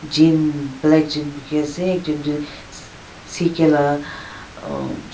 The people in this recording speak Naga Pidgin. jean black jean poki ase ekjont tu ck laga aamm --